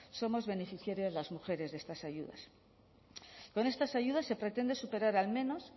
somos beneficiarias las mujeres de estas ayudas con estas ayudas se pretende superar al menos